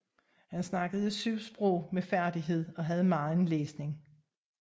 Han talte 7 sprog med færdighed og havde megen læsning